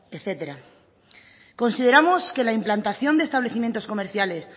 etcétera consideramos que la implantación de establecimientos comerciales